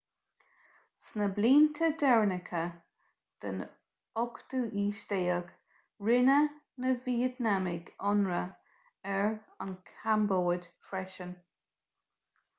sna blianta deireanacha den 18ú haois rinne na vítneamaigh ionradh ar an chambóid freisin